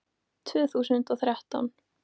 Tvö þúsund og þrettán